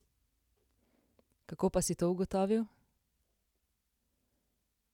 Kako pa si to ugotovil?